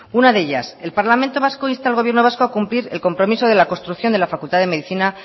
una de ellas el parlamento vasco insta al gobierno vasco a cumplir el compromiso de la construcción de la facultad de medicina